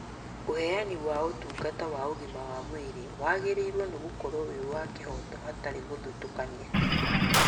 ũheani wa ũtungata wa ũgima wa mwĩrĩ wagĩrĩirwo nĩ gũkorwo wĩ wa kĩhoto hatarĩ gũthũtũkania